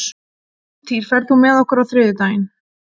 Úlftýr, ferð þú með okkur á þriðjudaginn?